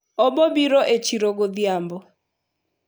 obobiro e chiro godhiambo